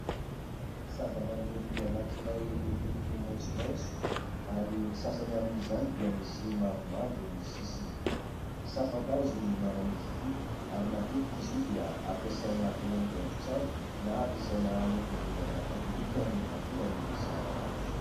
Zavamaniry anankiray miloko maitsomaitso, ary ny sasany amin'izany dia misy mavomavo ny sisiny : "sampan-kazo" ny anaran'izy ity ary matetika izy io dia ampiasaina ho haingohaingo trano na ampiasaina any am-piangonana katolika rehefa tonga ny sampan-kazo.